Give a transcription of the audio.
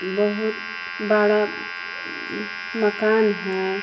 बहुत बड़ा मकान है।